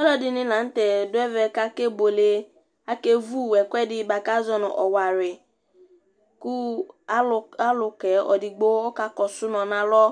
ɔluɛdini lɑŋtɛ du ɛvɛ kɑkɛbuɛlɛ kɛvu ɛkuɛdi buạkɑzɔnu ɔwɑri ɑlukɛ ɛdigbo ɔkɑkosumɑ nɑlɔ